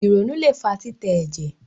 ìrònú lẹ fà titẹ ẹjẹ